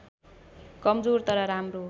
कमजोर तर राम्रो